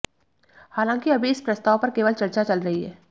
हालांकि अभी इस प्रस्ताव पर केवल चर्चा चल रही है